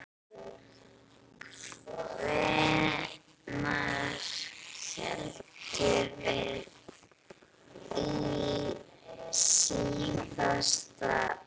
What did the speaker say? Hvenær héldum við síðast hreinu?